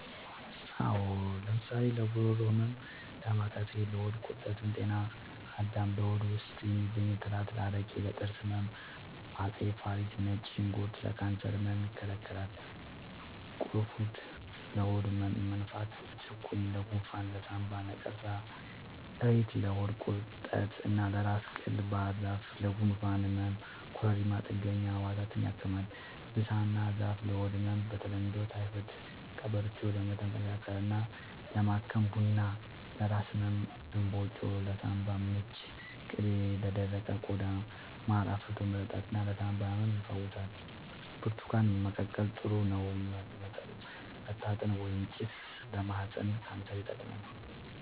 አዎ ለምሳሌ ለጉሮሮ ህመም ዳማከሴ ለሆድ ቁርጠት ጤና አዳም ለሆድ ውስጥ የሚገኙ ትላትል አረቄ ለጥርስ ህመም አፄ ፋሪስ ነጭ ሽንኩርት ለካንሰር ህመም ይከላከላል ቁሩፉድ ለሆድ መነፋት ጭቁኝ ለጎንፋን ለሳንባ ነቀርሳ እሬት ለሆድ ቁርጠት እና ለራስ ቅል ባህርዛፍ ለጉንፋን ህመም ኮረሪማ ጥገኛ ህዋሳትን ያክማል ብሳና ዛፍ ለሆድ ህመም በተለምዶ ታይፎድ ቀበርቿ ለመተንፈሻ አካልን ለማከም ቡና ለራስ ህመም እንባጮ ለሳንባ ምች ቅቤ ለደረቀ ቆዳ ማር አፍልቶ መጠጣት ለሳንባ ህመም ይፈውሳል ብርቱካን መቀቀል ጥሩ ነው መታጠን ወይባ ጭስ ለማህፀን ካንሰር ይጠቅማል